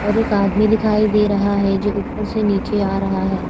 और एक आदमी दिखाई दे रहा है जो ऊपर से नीचे आ रहा है।